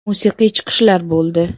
Musiqiy chiqishlar bo‘ldi.